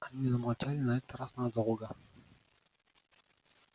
они замолчали на этот раз надолго